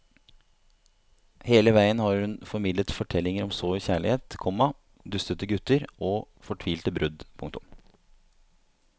Hele veien har hun formidlet fortellinger om sår kjærlighet, komma dustete gutter og fortvilte brudd. punktum